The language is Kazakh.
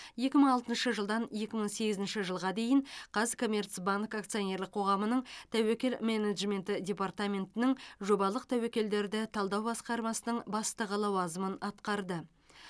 екі мың алтыншы жылдан екі мың сегізінші жылға дейін қазкоммерцбанк акционерлік қоғамының тәуекел менеджменті департаментінің жобалық тәуекелдерді талдау басқармасының бастығы лауазымын атқарды